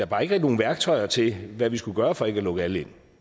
bare ikke nogen værktøjer til hvad vi skal gøre for ikke at lukke alle ind